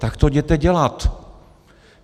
Tak to jděte dělat.